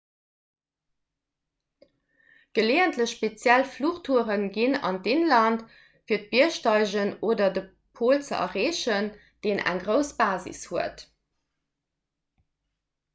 geleeëntlech speziell fluchtoure ginn an d'inland fir biergsteigen oder de pol ze erreechen deen eng grouss basis huet